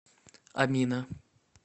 амина